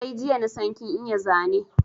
Sai jiya nasan kin iya Zane